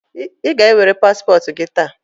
Ị ga-ewere paspọtụ gị taa?